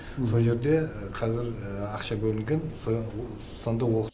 сол жерде қазір ақша бөлінген сонда оқыт